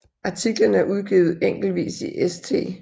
Artiklerne er udgivet enkeltvis i St